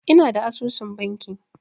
Ina da asusun banki.